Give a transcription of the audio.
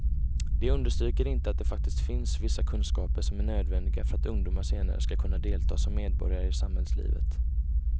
De understryker inte att det faktiskt finns vissa kunskaper som är nödvändiga för att ungdomar senare ska kunna delta som medborgare i samhällslivet.